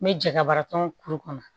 N bɛ jɛgɛba tɔn kuru kɔnɔ